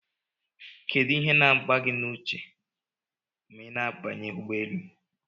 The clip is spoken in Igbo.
Kedu ihe na agba gi na uche ma ina abanye ụgbọelu?